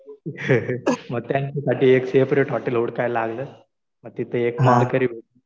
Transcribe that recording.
मग त्यांच्यासाठी एक सेपरेट हॉटेल हुडकायला लागलं. मग तिथं एक